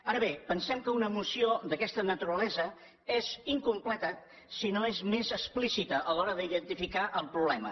ara bé pensem que una moció d’aquesta naturalesa és incompleta si no és més explícita a l’hora d’identificar el problema